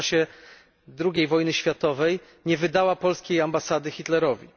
a w czasie II wojny światowej nie wydała polskiej ambasady Hitlerowi.